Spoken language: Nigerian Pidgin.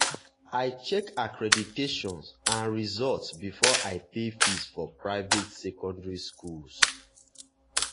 i check accreditation and results before i pay fees for private secondary school.